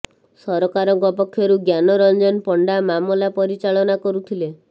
ସରକାରଙ୍କ ପକ୍ଷରୁ ଜ୍ଞାନ ରଂଜନ ପଣ୍ଡା ମାମଲା ପରିଚାଳନା କରୁଥିଲେ